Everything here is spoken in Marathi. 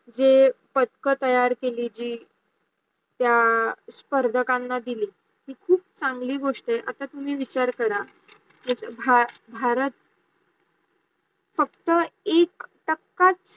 जे पंतक तयार केली जी त्या स्पर्धकांना दिली ती खूप सांगली गोष्टी आहे आता तुम्ही विचार करा भारत फक्त एक टाकायच